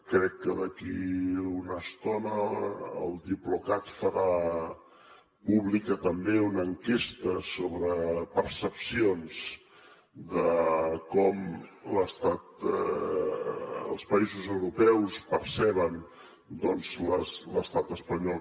crec que d’aquí a una estona el diplocat farà pública també una enquesta sobre percepcions de com els països europeus perceben doncs l’estat espanyol